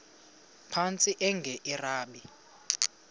phantsi enge lrabi